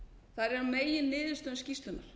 þar eru meginniðurstöður skýrslunnar